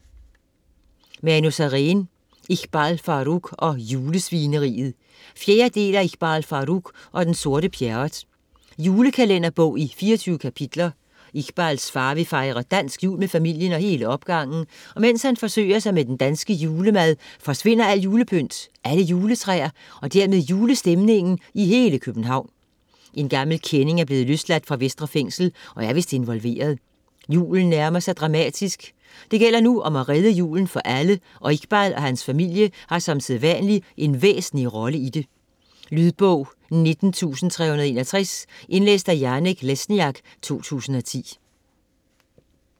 Sareen, Manu: Iqbal Farooq og julesvineriet 4. del af Iqbal Farooq og den sorte Pjerrot. Julekalenderbog i 24 kapitler. Iqbals far vil fejre dansk jul med familien og hele opgangen, og mens han forsøger sig med den danske julemad, forsvinder alt julepynt, alle juletræer og dermed julestemningen i hele København. En gammel kending er blevet løsladt fra Vestre Fængsel, og er vist involveret. Julen nærmer sig dramatisk. Det gælder nu om at redde julen for alle, og Iqbal og hans familie har som sædvanlig en væsentlig rolle i det. Lydbog 19361. Indlæst af Janek Lesniak, 2010.